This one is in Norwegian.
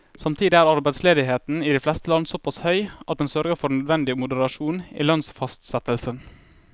Samtidig er arbeidsledigheten i de fleste land såpass høy at den sørger for nødvendig moderasjon i lønnsfastsettelsen.